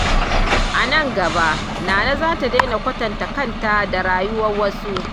A nan gaba, Nana za ta daina kwatanta kanta da rayuwar wasu.